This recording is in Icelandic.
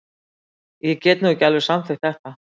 Ég get nú ekki alveg samþykkt þetta.